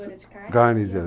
de carne? carne